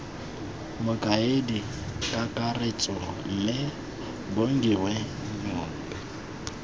mokaedi kakaretso mme bongiwe njobe